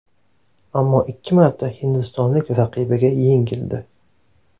Ammo ikki marta hindistonlik raqibiga yengildi.